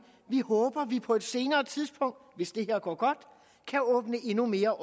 vi håber vi på et senere tidspunkt hvis det her går godt kan åbne endnu mere